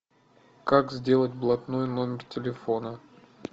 как сделать блатной номер телефона